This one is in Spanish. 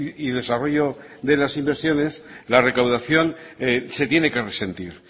y desarrollo de las inversiones la recaudación se tiene que resentir